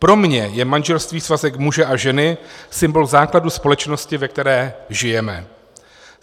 Pro mě je manželství svazek muže a ženy, symbol základu společnosti, ve které žijeme.